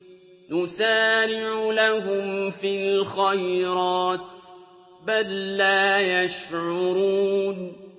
نُسَارِعُ لَهُمْ فِي الْخَيْرَاتِ ۚ بَل لَّا يَشْعُرُونَ